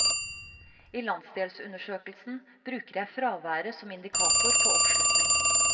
I landsdelsundersøkelsen bruker jeg fraværet som indikator på oppslutning.